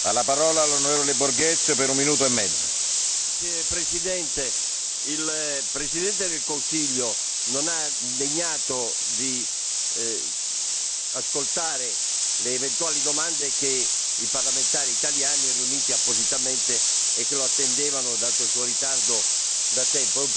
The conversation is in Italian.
Signor Presidente, onorevoli colleghi, il Presidente del Consiglio non si è degnato di ascoltare le eventuali domande dei parlamentari italiani, riunitisi appositamente e che lo attendevano, dato il suo ritardo, da tempo. È un precedente che non va bene, Presidente